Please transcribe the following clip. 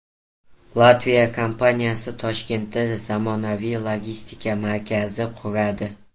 Latviya kompaniyasi Toshkentda zamonaviy logistika markazi quradi.